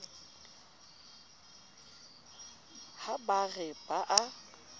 ha ba re ba a